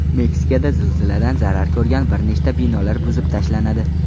Meksikada zilziladan zarar ko‘rgan bir nechta binolar buzib tashlanadi.